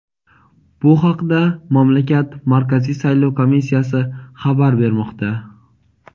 Bu haqda mamlakat Markaziy saylov komissiyasi xabar bermoqda.